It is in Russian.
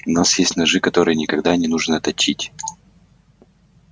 у нас есть ножи которые никогда не нужно точить